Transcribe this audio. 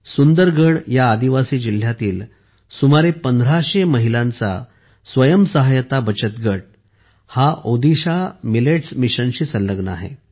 सुंदरगढ या आदिवासी जिल्ह्यातील सुमारे 1500 महिलांचा स्वयंसहायता बचत गट हा ओदिशा मिलेट्स मिशनशी संलग्न आहे